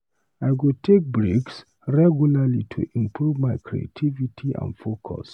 I go take breaks regularly to improve my creativity and focus.